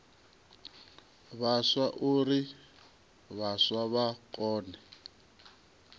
vhaswa uri vhaswa vha kone